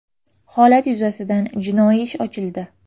Holat yuzasidan jinoiy ish ochildi.